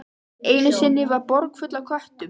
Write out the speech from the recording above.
Einu sinni var borg full af köttum.